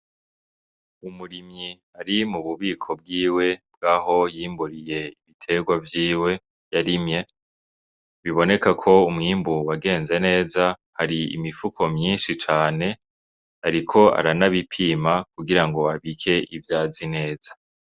Umurimyi ari mu bubiko bwiwe bwaho yimburiye ibiterwa vyiwe yarimye biboneka yuko umwimbu wagenze neza hari imifuko myinshi cane ariko aranabipima kugirango abike ivyo azi neza.